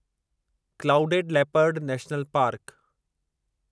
clouded leopard national park